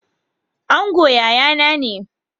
Angon yayana ne.